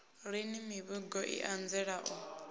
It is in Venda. lini mivhigo i anzela u